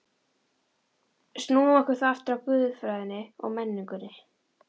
Snúum okkur þá aftur að guðfræðinni og menningunni.